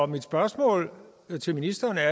mit spørgsmål til ministeren er